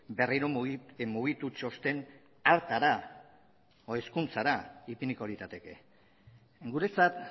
berriro mugitu txosten hartara hezkuntzara ipiniko lirateke guretzat